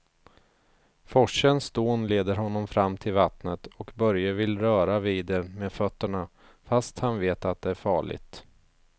Forsens dån leder honom fram till vattnet och Börje vill röra vid det med fötterna, fast han vet att det är farligt.